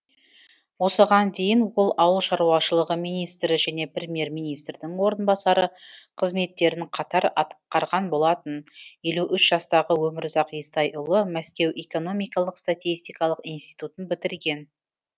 осыған дейін ол ауыл шаруашылығы министрі және премьер министрдің орынбасары қызметтерін қатар атқарған болатын елі үш жастағы өмірзақ естайұлы мәскеу экономикалық статистикалық институтын бітірген